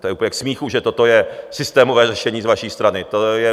To je úplně k smíchu, že toto je systémové řešení z vaší strany.